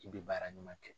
I bɛ baara ɲuman kɛ